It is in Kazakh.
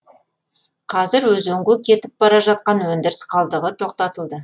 қазір өзенге кетіп бара жатқан өндіріс қалдығы тоқтатылды